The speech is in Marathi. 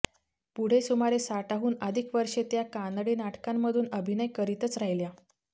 पुढे सुमारे साठाहून अधिक वर्षे त्या कानडी नाटकांमधून अभिनय करीतच राहिल्या